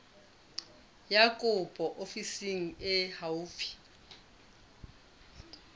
ya kopo ofising e haufi